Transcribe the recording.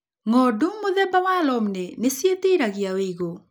Ng'ondu mũthemba wa Romney nĩciĩtiraga wĩigũ.